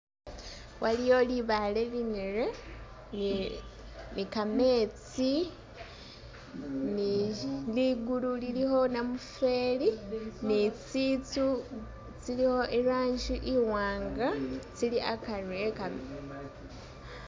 Waliyo libaale linere, ni- ni kametsi, ni ligulu lilikho namufeeli ni tsitsu tsilikho irangi iwanga, tsili akari ekam.